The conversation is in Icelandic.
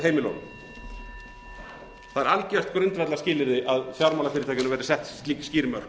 heimilunum það er algjört grundvallarskilyrði að fjármálafyrirtækjunum verði sett slík skýr mörk